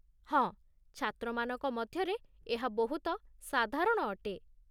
ହଁ, ଛାତ୍ରମାନଙ୍କ ମଧ୍ୟରେ ଏହା ବହୁତ ସାଧାରଣ ଅଟେ।